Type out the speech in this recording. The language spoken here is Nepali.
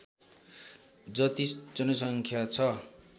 जति जनसङ्ख्या छ